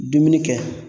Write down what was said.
Dumuni kɛ